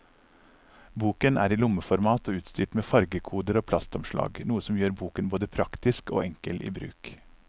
Boken er i lommeformat og utstyrt med fargekoder og plastomslag, noe som gjør boken både praktisk og enkel i bruk.